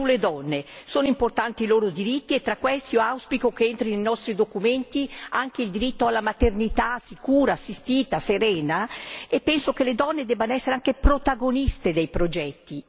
Sulle donne, sono importanti i loro diritti e tra questi io auspico che entri nei nostri documenti anche il diritto alla maternità sicura, assistita, serena, e penso che le donne debbano essere anche protagoniste dei progetti.